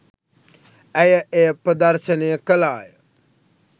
ඇය එය ප්‍රදර්ශනය කළාය.